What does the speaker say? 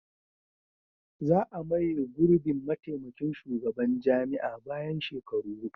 Za a maye gurbin mataimakin shugaban jami'a bayan shekaru hudu.